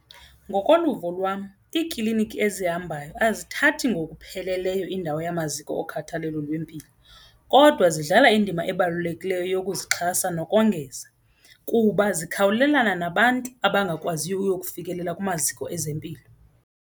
Ngokoluvo lwam iikliniki ezihambayo azithathi ngokupheleleyo indawo yamaziko okhathalelo lwempilo kodwa zidlala indima ebalulekileyo yokuzixhasa nokongeza kuba zikhawulelana nabantu abangakwaziyo ukuyokufikelela kumaziko ezempilo kuba.